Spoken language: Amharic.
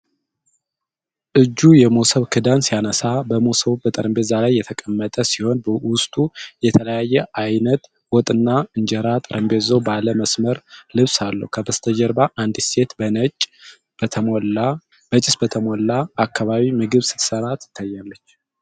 እጁ የመሶብ ክዳን ሲያነሳ ። መሶቡ በጠረጴዛ ላይ የተቀመጠ ሲሆን፣ ውስጡ የተለያየ ዓይነት ወጥና እንጀራ ። ጠረጴዛው ባለ መስመር ልብስ አለው። ከበስተጀርባ አንዲት ሴት በጭስ በተሞላ አካባቢ ምግብ ስትሠራ ትታያለች።